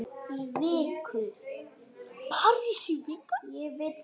Um svipað efni